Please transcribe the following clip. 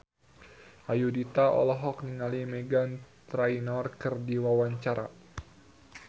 Ayudhita olohok ningali Meghan Trainor keur diwawancara